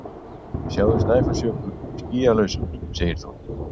Sjáðu Snæfellsjökul skýlausan segir þú.